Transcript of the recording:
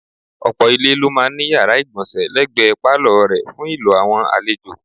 Ọ̀pọ̀ ilé ló máa ń ní yàrá ìgbọ̀nsẹ̀ lẹ́gbẹ̀ẹ́ pálọ̀ rẹ̀ fún ìlò àwọn àlejò.